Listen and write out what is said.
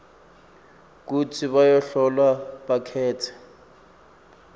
kutsi bahlolwa bakhetse